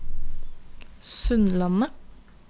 Sundlandet